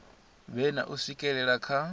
vhe na u swikelela kha